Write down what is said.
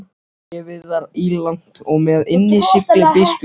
Bréfið var ílangt og með innsigli biskups.